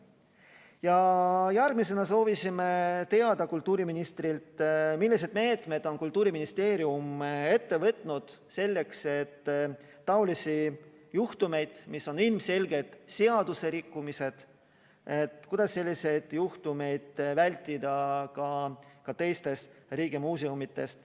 Ja järgmisena soovisime kultuuriministrilt teada saada, millised meetmed on Kultuuriministeerium kasutusele võtnud selleks, et taolisi juhtumeid, mis on ilmselgelt seaduserikkumised, vältida ka teistes riigimuuseumides.